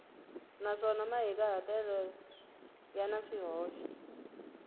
naswona mahikahatelo ya na swihoxo